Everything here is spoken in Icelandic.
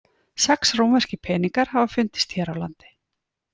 Sex rómverskir peningar hafa fundist hér á landi.